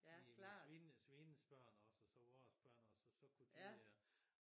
Min svigerinde svigerindes børn også og så vores børn og så så kunne de